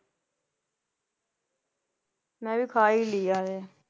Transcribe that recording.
ਮੈਂ ਵੀ ਖਾ ਹੀ ਲਿਆ ਹਜੇ।